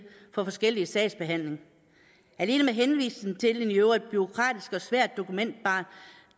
får forskellig sagsbehandling alene med henvisning til et i øvrigt bureaukratisk og svært dokumenterbart